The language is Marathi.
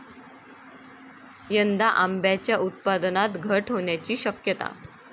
यंदा आंब्याच्या उत्पादनात घट होण्याची शक्यता